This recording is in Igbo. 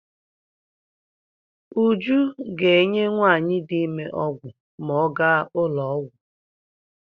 Uju ga-enye nwaanyị di ime ọgwụ ma ọ ga n'ụlọọgwụ.